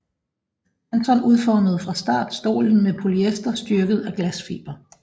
Panton udformede fra start stolen med polyester styrket af glasfiber